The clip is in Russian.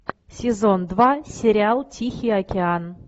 сезон два сериал тихий океан